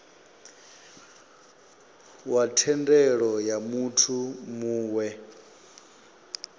wa thendelo ya muthu muwe